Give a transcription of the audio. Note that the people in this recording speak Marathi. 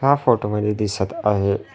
ह्या फोटो मध्ये दिसत आहे--